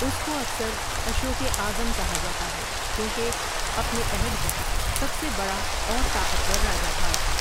اُس کو اکثر اشوکِ اعظم کہا جاتا ہے کیونکہ اپنے عہد کا سب سے بڑا اور طاقتور راجہ تھا ۔